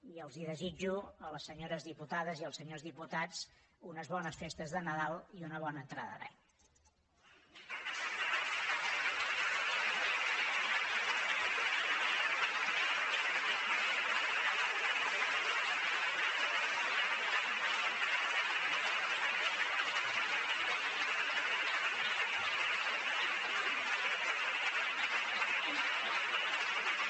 i els desitjo a les senyores diputades i als senyors diputats unes bones festes de nadal i una bona entrada d’any